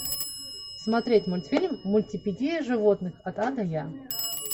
смотреть мультфильм мультипедия животных от а до я